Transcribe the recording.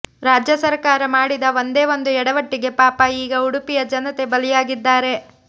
ರಾಜ್ಯ ಸರಕಾರ ಮಾಡಿದ ಒಂದೇ ಒಂದು ಎಡವಟ್ಟಿಗೆ ಪಾಪಾ ಈಗ ಉಡುಪಿಯ ಜನತೆ ಬಲಿಯಾಗಿದ್ದಾರೆ